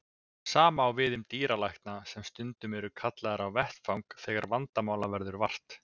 Sama á við um dýralækna sem stundum eru kallaðir á vettvang þegar vandamála verður vart.